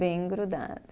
Bem grudado.